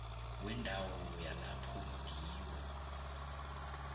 wendawo yalapho ngiwo